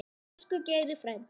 Elsku Geiri frændi.